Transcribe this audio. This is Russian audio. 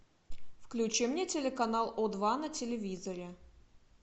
включи мне телеканал о два на телевизоре